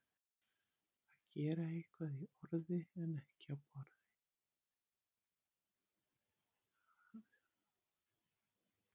Að gera eitthvað í orði en ekki á borði